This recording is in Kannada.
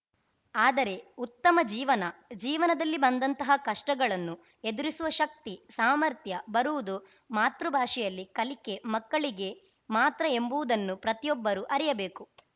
ಆದರೆ ಉತ್ತಮ ಜೀವನ ಜೀವನದಲ್ಲಿ ಬಂದಂತಹ ಕಷ್ಟಗಳನ್ನು ಎದುರಿಸುವ ಶಕ್ತಿ ಸಾಮರ್ಥ್ಯ ಬರುವುದು ಮಾತೃ ಭಾಷೆಯಲ್ಲಿ ಕಲಿಕೆ ಮಕ್ಕಳಿಗೆ ಮಾತ್ರ ಎಂಬುವುದನ್ನು ಪ್ರತಿಯೊಬ್ಬರು ಅರಿಯಬೇಕು